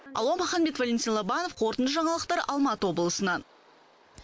алуа маханбет валентин лобанов қорытынды жаңалықтар алматы облысынан